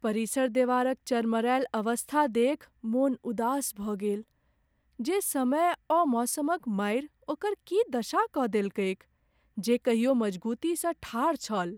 परिसर देवारक चरमरायल अवस्था देखि मोन उदास भऽ गेल जे समय ओ मौसमक मारि ओकर की दशा कऽ देलकैक जे कहियो मजगुतीसँ ठाढ़ छल।